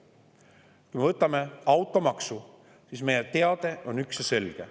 Kui me vaatame automaksu, siis meie teade on üks ja selge.